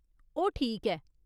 ओह् ठीक ऐ।